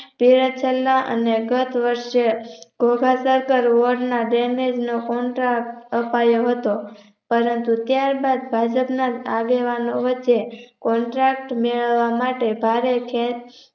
તે હેઠળના અને ગત વર્ષ જેવા ધોઘા oven ના damage નું Contract આપયો હતો પરંતુ ત્યાર બાદ ભાજપના આગેવાનો વચ્ચે Contract મેળવવા માટે ભારે ખેંચ